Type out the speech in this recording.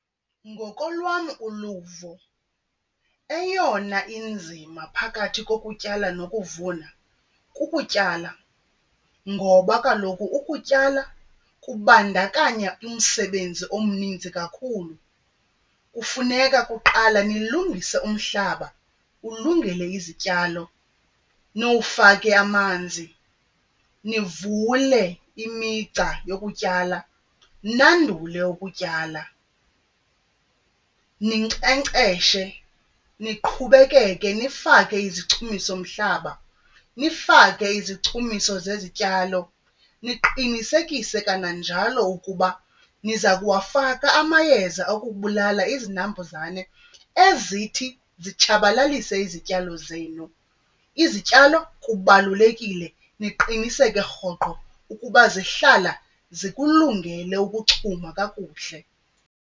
Ngokolwam uluvo, eyona inzima phakathi kokutyala nokuvuna kukutyala ngoba kaloku ukutyala kubandakanya umsebenzi omninzi kakhulu. Kufuneka kuqala nilungise umhlaba ulungele izityalo, niwufake amanzi, nivule imigca yokutyala nandule ukutyala. Ninkcenkceshe, niqhubekeke nifake izichumisomhlaba, nifake izichumiso zezityalo, niqinisekise kananjalo ukuba niza kuwafaka amayeza okubulala izinambuzane ezithi zitshabalalise izityalo zenu. Izityalo kubalulekile niqiniseke rhoqo ukuba zihlala zikulungele ukuchuma kakuhle.